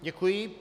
Děkuji.